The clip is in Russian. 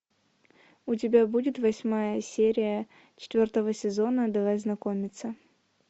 у тебя будет восьмая серия четвертого сезона давай знакомиться